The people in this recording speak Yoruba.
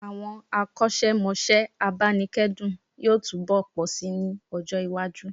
Àwọn akọ́ṣẹ́mọṣẹ́ abánikẹ́dùn yóò túnbọ̀ pọ̀ sí ní ọjọ́-iwájú.